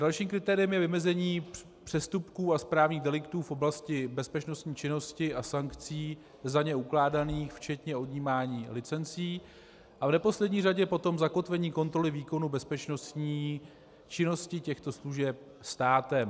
Dalším kritériem je vymezení přestupků a správních deliktů v oblasti bezpečnostní činnosti a sankcí za ně ukládaných, včetně odjímání licencí, a v neposlední řadě potom zakotvení kontroly výkonu bezpečnostní činnosti těchto služeb státem.